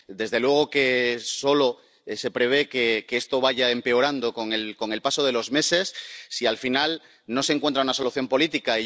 Desde luego, solo se prevé que esto vaya empeorando con el paso de los meses si al final no se encuentra una solución política.